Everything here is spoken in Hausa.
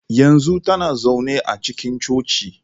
Yanzu tana zaune a cikin Coci.